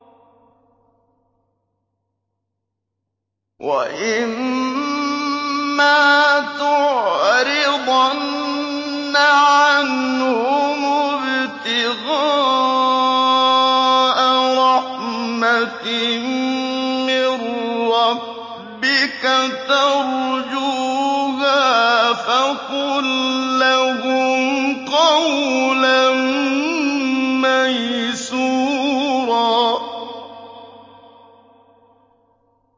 وَإِمَّا تُعْرِضَنَّ عَنْهُمُ ابْتِغَاءَ رَحْمَةٍ مِّن رَّبِّكَ تَرْجُوهَا فَقُل لَّهُمْ قَوْلًا مَّيْسُورًا